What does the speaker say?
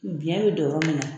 Biyɛn bɛ don yɔrɔ min na.